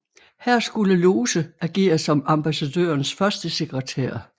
Her skulle Lose agere som ambassadørens førstesekretær